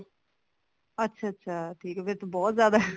ਅੱਛਾ ਅੱਛਾ ਠੀਕ ਹੈ ਫ਼ੇਰ ਤਾਂ ਬਹੁਤ ਜਿਆਦਾ